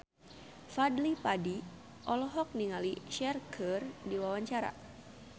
Fadly Padi olohok ningali Cher keur diwawancara